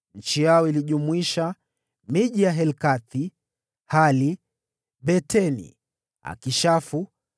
Eneo lao lilijumuisha: Helkathi, Hali, Beteni, Akishafu,